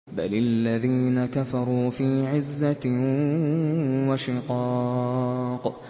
بَلِ الَّذِينَ كَفَرُوا فِي عِزَّةٍ وَشِقَاقٍ